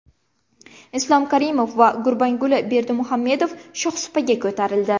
Islom Karimov va Gurbanguli Berdimuhamedov shohsupaga ko‘tarildi.